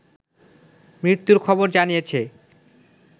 মৃত্যুর খবর জানিয়েছে